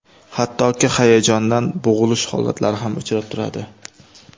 Hattoki hayajondan bo‘g‘ilish holatlari ham uchrab turadi.